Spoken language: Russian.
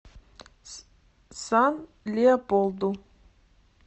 сан леополду